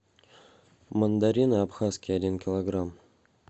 мандарины абхазские один килограмм